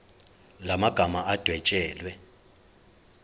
la magama adwetshelwe